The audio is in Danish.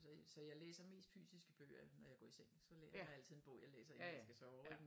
Så jeg så jeg læser mest fysiske bøger når jeg går i seng så er der altid en bog jeg læser inden jeg skal sove ik